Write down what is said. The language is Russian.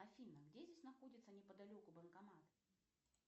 афина где здесь находится неподалеку банкомат